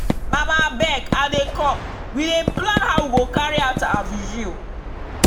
mama abeg i dey comewe dey plan how we go carry out our vigil.